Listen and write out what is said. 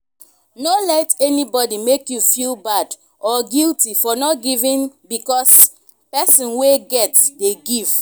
no let anybody make you feel bad or guilty for not giving because person wey get dey give